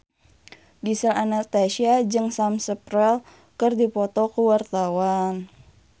Gisel Anastasia jeung Sam Spruell keur dipoto ku wartawan